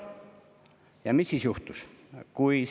Ja mis siis juhtus?